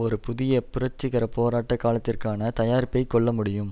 ஒரு புதிய புரட்சிகர போராட்ட காலத்திற்கான தயாரிப்பை கொள்ள முடியும்